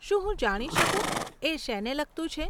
શું હું જાણી શકું, એ શેને લગતું છે?